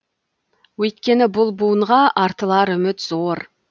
өйткені бұл буынға артылар үміт зор